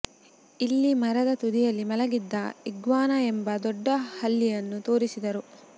ಇಲ್ಲಿ ಮರದ ತುದಿಯಲ್ಲಿ ಮಲಗಿದ್ದ ಇಗ್ವಾನಾ ಎಂಬ ದೊಡ್ಡ ಹಲ್ಲಿಯನ್ನು ತೋರಿಸಿದರು